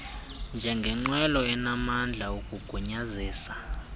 njengengqwelo enamandla ukugunyazisa